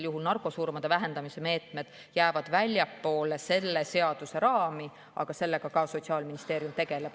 Nii et narkosurmade vähendamise meetmed jäävad väljapoole selle seaduse raami, aga selle teemaga Sotsiaalministeerium tegeleb.